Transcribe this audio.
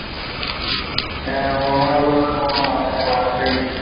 হ্যাঁ ও আমায় বললো কোনো মাইনে বাড়বেই